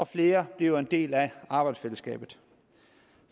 flere bliver en del af arbejdsfællesskabet